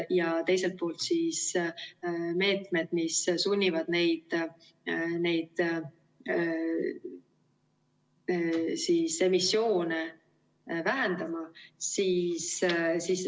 Ja teine pool on meetmed, mis sunnivad neid emissioone vähendama.